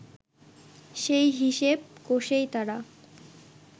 সেই হিসেব কষেই তারা